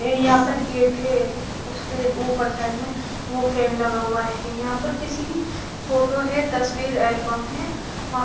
यहाँ पर गेट है उसके ऊपर साईड में वो फैन लगा हुआ है यहाँ पर किसी की फोटो है तस्वीर एल्बम है वहां--